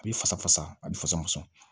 A bɛ fasa fasa a b'i fasa